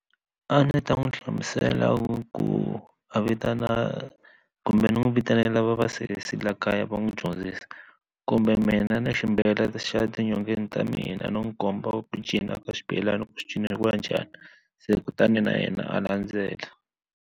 A ndzi ta n'wi hlamusela ku a vitana kumbe ni n'wi vitanela va vasesi la kaya va n'wi dyondzisa kumbe mina na xa ti nyongeni ta mina no n'wi komba ku cinca ka xibelani xi cineriwa njhani se kutani na yena a landzela.